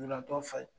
Lujuratɔ falen